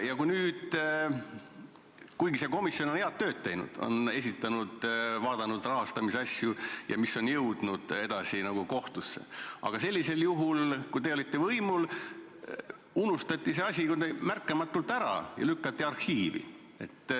Nüüd on see komisjon head tööd teinud, on uurinud rahastamise asju ja need on jõudnud edasi kohtusse, aga kui teie olite võimul, siis unustati see asi kuidagi märkamatult ära ja lükati arhiivi.